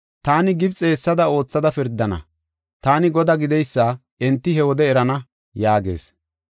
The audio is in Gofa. Taani Gibxe hessada oothada pirdana. Taani Godaa gideysa enti he wode erana” yaagees.